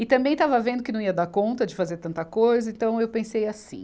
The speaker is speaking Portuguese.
E também estava vendo que não ia dar conta de fazer tanta coisa, então eu pensei assim,